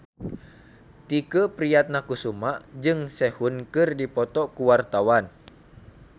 Tike Priatnakusuma jeung Sehun keur dipoto ku wartawan